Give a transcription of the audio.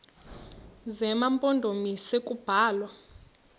zema mpondomise kubalwa